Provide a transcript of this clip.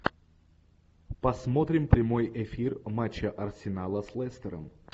посмотрим прямой эфир матча арсенала с лестером